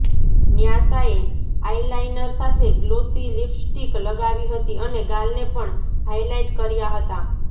ન્યાસાએ eyeliner સાથે glossy lipstick લગાવી હતી અને ગાલને પણ હાઈલાઈટ કર્યા હતાં